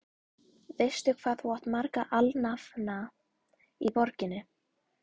Veistu, hvað þú átt marga alnafna í borginni?